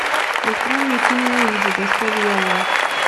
открой мне фильм уиджи доска дьявола